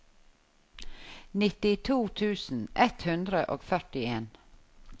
nittito tusen ett hundre og førtien